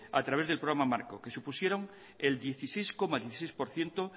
a través del programa marco que supusieron el dieciséis coma dieciséis por ciento